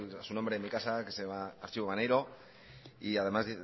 a su nombre en mi casa que se llama archivo maneiro y además